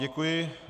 Děkuji.